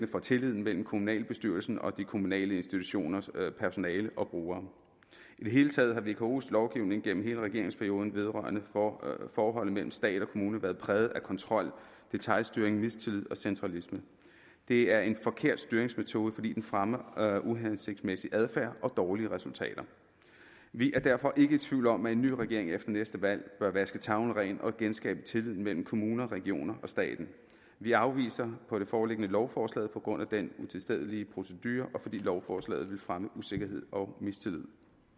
for tilliden mellem kommunalbestyrelsen og de kommunale institutioners personale og brugere i det hele taget har vkos lovgivning gennem hele regeringsperioden vedrørende forholdet mellem stat og kommune være præget af kontrol detailstyring mistillid og centralisme det er en forkert styringsmetode fordi den fremmer uhensigtsmæssig adfærd og dårlige resultater vi er derfor ikke i tvivl om at en ny regering efter næste valg bør vaske tavlen ren og genskabe tilliden mellem kommuner regioner og staten vi afviser på det foreliggende grundlag lovforslaget på grund af den utilstedelige procedure og fordi lovforslaget vil fremme usikkerhed og mistillid